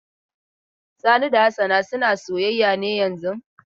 Sani da Hassana suna soyayya ne yanzun?